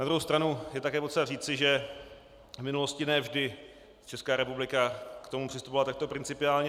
Na druhou stranu je také potřeba říci, že v minulosti ne vždy Česká republika k tomu přistupovala takto principiálně.